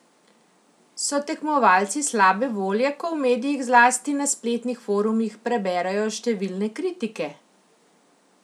So tekmovalci slabe volje, ko v medijih, zlasti na spletnih forumih, preberejo številne kritike?